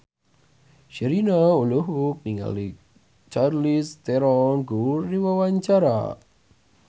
Sherina olohok ningali Charlize Theron keur diwawancara